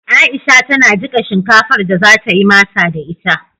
Aisha tana jiƙa shinkafar da za ta yi masa da ita.